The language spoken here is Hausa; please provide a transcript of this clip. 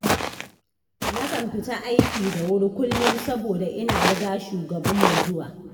Na kan fita aiki da wuri kullum saboda ina riga shugabanmu zuwa.